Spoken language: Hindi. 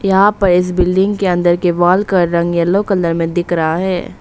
यहां पर इस बिल्डिंग के अंदर के वाल का रंग येलो कलर में दिख रहा है।